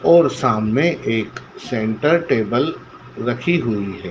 और सामने एक सेंटर टेबल रखी हुई है।